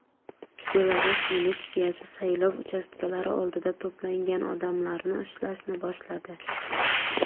Belarus militsiyasi saylov uchastkalari oldida to‘plangan odamlarni ushlashni boshladi.